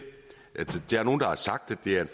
det er en